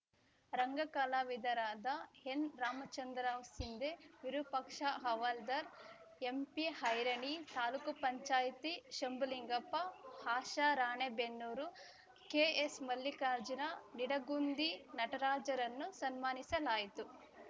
ರಂಗ ಕಲಾವಿದರಾದ ಎನ್‌ರಾಮಚಂದ್ರರಾವ್‌ ಸಿಂಧೆ ವಿರುಪಾಕ್ಷ ಹವಾಲ್ದಾರ್‌ ಎಂಪಿಐರಣಿ ತಾಲೂಕ್ ಪಂಚಾಯತಿ ಶಂಭುಲಿಂಗಪ್ಪ ಆಶಾ ರಾಣೆಬೆನ್ನೂರು ಕೆಎಸ್‌ಮಲ್ಲಿಕಾರ್ಜುನ ನಿಡಗುಂದಿ ನಟರಾಜರನ್ನು ಸನ್ಮಾನಿಸಲಾಯಿತು